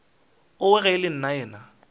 owe ge e le nnaena